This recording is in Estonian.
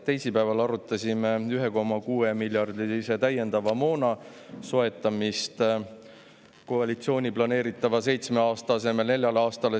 Teisipäeval arutasime 1,6 miljardi euro eest täiendava moona soetamist koalitsiooni planeeritava seitsme aasta asemel nelja aastaga.